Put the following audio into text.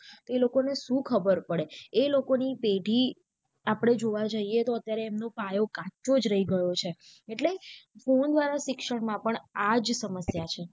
એ લોકો ને શું ખબર પડે એ લોકોની પેઢી આપળે જોવા જઇયે તો અત્યારે એમનો પાયો કાચો જ રહી ગયો છે એટલે phone દ્વારા શિક્ષણ માં પણ આજ સમસ્યા છે.